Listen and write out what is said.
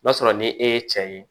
N'a sɔrɔ ni e ye cɛ ye